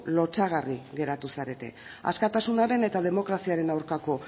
lotsagarri geratu zarete askatasunaren eta demokraziaren aurkako